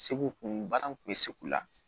Segu kun baara in kun bɛ se k'u la